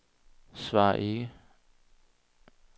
svar ikke